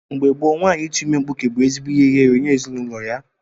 Mgbe gboo nwaanyị ịtu ime mkpụke bu ezigbo ihe ihere nye ezinụlọ ya.